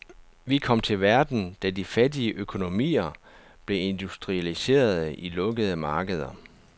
Vi kom til verden, da de fattige økonomier blev industrialiserede i lukkede markeder.